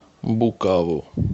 букаву